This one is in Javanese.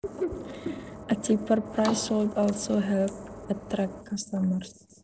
A cheaper price should also help attract customers